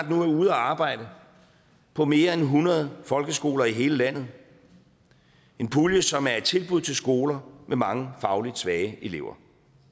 nu er ude at arbejde på mere end hundrede folkeskoler i hele landet en pulje som er et tilbud til skoler med mange fagligt svage elever